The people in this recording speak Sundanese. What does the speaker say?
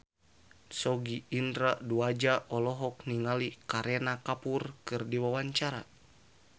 Sogi Indra Duaja olohok ningali Kareena Kapoor keur diwawancara